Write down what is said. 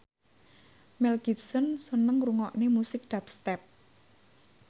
Mel Gibson seneng ngrungokne musik dubstep